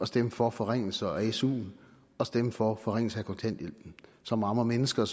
stemme for forringelser af suen og stemme for forringelser af kontanthjælpen som rammer mennesker